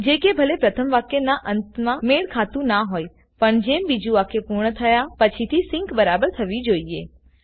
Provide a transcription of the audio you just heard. જે કે ભલે પ્રથમ વાક્ય ના અંત મા મેળખાતુ ના હોયપણ જેમ બીજું વાક્ય પૂર્ણ થયા પછીથી સિંક બરાબર થવી જોઈએ